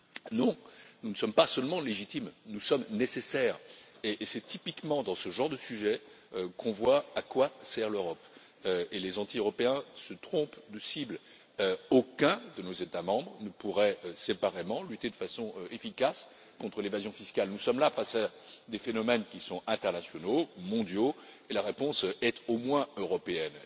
Non, nous ne sommes pas seulement légitimes, nous sommes nécessaires, et c'est typiquement dans ce genre de sujet que l'on voit à quoi sert l'Europe, et les anti Européens se trompent de cible, car aucun de nos États membres ne pourrait séparément lutter de façon efficace contre l'évasion fiscale. Nous sommes là face à des phénomènes qui sont internationaux, mondiaux, et la réponse est, au moins, européenne.